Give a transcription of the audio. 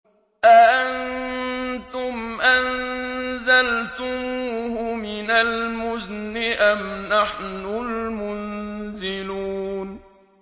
أَأَنتُمْ أَنزَلْتُمُوهُ مِنَ الْمُزْنِ أَمْ نَحْنُ الْمُنزِلُونَ